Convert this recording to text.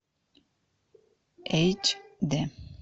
эйч д